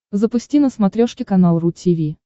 запусти на смотрешке канал ру ти ви